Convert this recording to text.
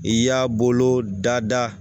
I y'a bolo da da